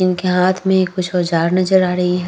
इनके हाथ में कुछ औजार नजर आ रही है ।